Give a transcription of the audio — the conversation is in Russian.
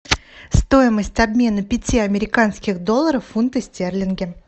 стоимость обмена пяти американских долларов в фунты стерлинги